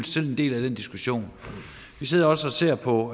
selv en del af den diskussion vi sidder også og ser på